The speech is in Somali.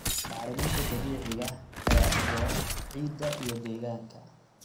Bacriminta dabiiciga ah ayaa u roon ciidda iyo deegaanka.